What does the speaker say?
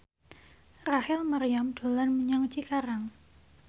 Rachel Maryam dolan menyang Cikarang